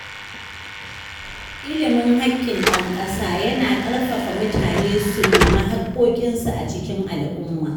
Ilimin haƙƙin ɗan ƙasa yana ƙarfafa mutane su nemi hakkokinsu a cikin al’umma.